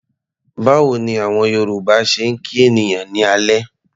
Báwo ni àwọn Yorùbá ṣe ń kí ènìyàn ní alẹ́?